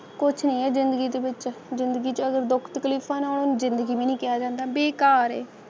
ਕੁੱਝ ਇਹੋ ਜਿਹੇ ਗੀਤ ਵਿੱਚ ਸਫ਼ਲ ਜ਼ਿੰਦਗੀ ਚੋ ਦੁੱਧ ਕੱਪ ਤੀਸਰੇ ਦਿਨ ਵੀ ਨਹੀਂ ਕਿਹਾ ਜਾਂਦਾ ਹੈ